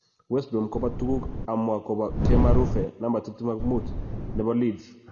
West Brom kobo tuguk amwa kobo Kemar Roofe, 25, nebo Leeds.